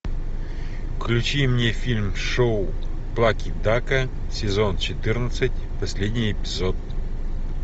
включи мне фильм шоу плаки дака сезон четырнадцать последний эпизод